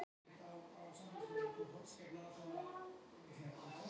Væri betra að tapa öllum leikjunum?